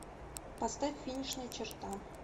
поставь финишная черта